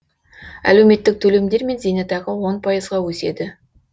әлеуметтік төлемдер мен зейнетақы он пайызға өседі